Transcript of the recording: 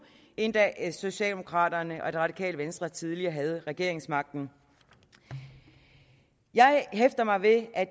end da socialdemokraterne og det radikale venstre tidligere havde regeringsmagten jeg hæfter mig ved at